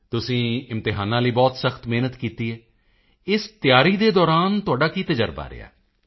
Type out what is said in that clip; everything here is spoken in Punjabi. ਤੁਸੀਂ ਇਮਤਿਹਾਨਾਂ ਲਈ ਬਹੁਤ ਸਖਤ ਮਿਹਨਤ ਕੀਤੀ ਹੈ ਇਸ ਤਿਆਰੀ ਦੇ ਦੌਰਾਨ ਤੁਹਾਡਾ ਕੀ ਤਜਰਬਾ ਰਿਹਾ